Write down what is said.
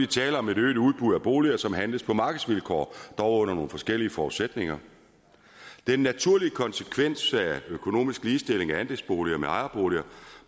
tale om et øget udbud af boliger som handles på markedsvilkår dog under nogle forskellige forudsætninger den naturlige konsekvens af økonomisk ligestilling af andelsboliger med ejerboliger